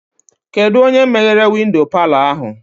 Kedụ onye meghere windo palọ ahụ?